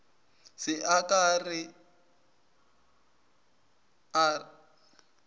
se a ka a re